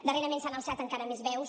darrerament s’han alçat encara més veus